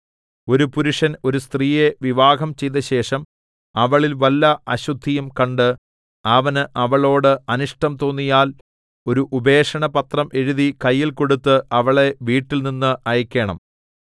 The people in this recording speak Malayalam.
ഒരു പുരുഷൻ ഒരു സ്ത്രീയെ വിവാഹം ചെയ്തശേഷം അവളിൽ വല്ല അശുദ്ധിയും കണ്ട് അവന് അവളോട് അനിഷ്ടം തോന്നിയാൽ ഒരു ഉപേക്ഷണപത്രം എഴുതി കയ്യിൽ കൊടുത്ത് അവളെ വീട്ടിൽനിന്ന് അയയ്ക്കേണം